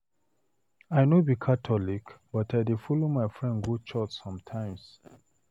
I no be catholic but I dey follow my friend go church sometimes.